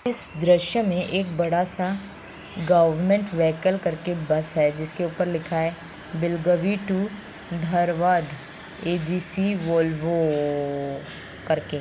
इस दृश्य में एक बड़ा सा गवर्नमेंट व्हीकल कर क एक बस है जिसके ऊपर लिखा है बिलगावी तो धारवाड़ वॉल्वोऊऊऊ कर क।